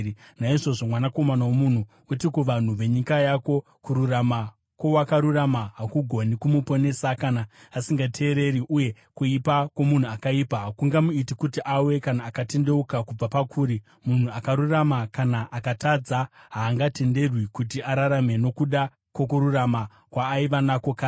“Naizvozvo, mwanakomana womunhu, uti kuvanhu venyika yako, ‘Kururama kwowakarurama hakugoni kumuponesa kana asingateereri, uye kuipa kwomunhu akaipa hakungamuiti kuti awe kana akatendeuka kubva pakuri. Munhu akarurama, kana akatadza, haangatenderwi kuti ararame nokuda kwokururama kwaaiva nako kare.’